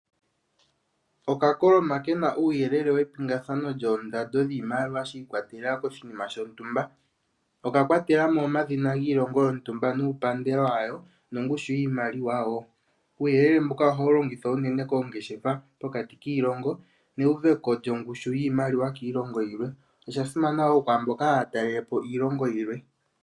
Okakoloma kena uuyeele wepingathano lyoondando dhiimaliwa shiikwatelela koshinima shontumba. Oka kwatela mo omadhina giilongo yontumba nuupandela wayo nongushu yiimaliwa wo. Uuyelele mbuka ohawu longithwa unene koongeshefa pokati kiilongo, neuveko lyongushu yiimaliwa kiilongo yilwe. Olya simana wo kwaamba taye ya okutalela po iilongo yilwe.